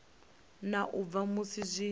na u bva musi zwi